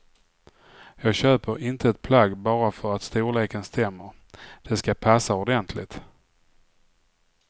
Jag köper inte ett plagg bara för att storleken stämmer, det ska passa ordentligt.